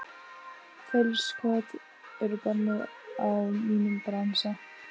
Feilskot eru bönnuð í mínum bransa.